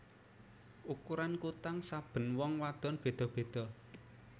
Ukuran kutang saben wong wadon beda beda